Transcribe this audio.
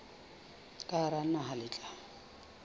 ka hara naha le tla